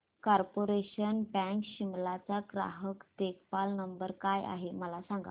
corporation bank Shimla चा ग्राहक देखभाल नंबर काय आहे मला सांग